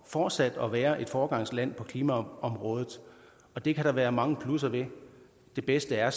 fortsat at være et foregangsland på klimaområdet det kan der være mange plusser ved det bedste er